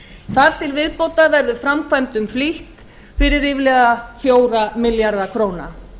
þar til viðbótar verður framkvæmdum flýtt fyrir ríflega fjórir milljarðar króna